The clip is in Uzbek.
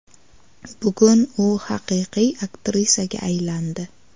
Bugun u haqiqiy aktrisaga aylandi.